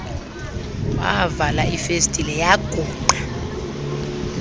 wavala ifestile yagrungqa